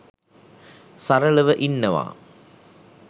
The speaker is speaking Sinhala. සරලව ඉන්නවා